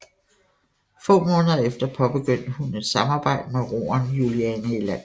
Få måneder efter påbegyndte hun et samarbejde med roeren Juliane Elander